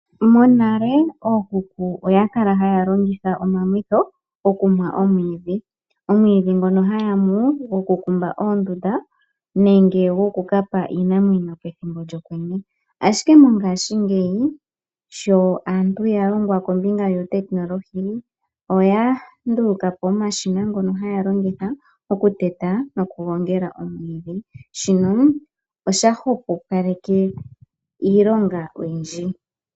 Monale ookuku oya kala haya longitha omamwitho okumwa omwiidhi. Omwiidhi ngono haya mu oku kumba oondunda nenge goku kapa iinamwenyo pethimbo lyokwenye. Ashike mongashingeyi sho aantu ya longwa kombinga yuutekinolohi oya ndulukapo omashina ngono haya longitha oku teta noku gongela omwiidhi. Shino osha hwepopaleke iilonga oyindji.